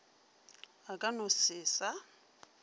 a ka no se sa